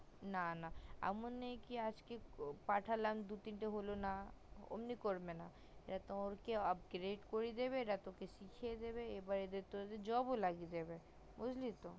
না না এমন নেই যে আজকে পাঠালাম দু তিনটে হলো না অমনি করবে না এরা তোকে upgrete করিয়ে দেবে এরা পিছিয়ে দেবে এবার তো job ও লাগিয়ে দেবে বুজলি তো খুব ভাল